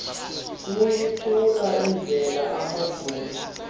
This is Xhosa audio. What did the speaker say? buyiphucula indlela amajoni